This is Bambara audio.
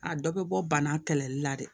A dɔ bɛ bɔ bana kɛlɛli la de